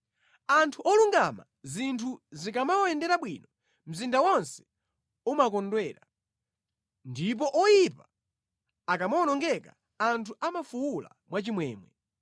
Anthu olungama zinthu zikamawayendera bwino, mzinda wonse umakondwera, ndipo oyipa akamawonongeka anthu amafuwula mwachimwemwe.